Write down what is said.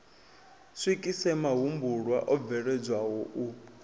swikise mahumbulwa o bveledzwaho u